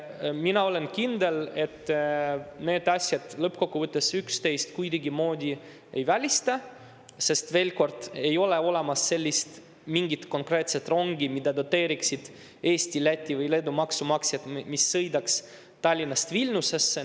Mina olen kindel, et need asjad lõppkokkuvõttes üksteist kuidagimoodi ei välista, sest, veel kord, ei ole olemas mingit konkreetset rongi, mida doteeriksid Eesti, Läti või Leedu maksumaksjad ja mis sõidaks Tallinnast Vilniusesse.